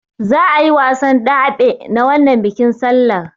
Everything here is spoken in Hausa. Za'a yi wasan daɓe na wannan bikin sallar.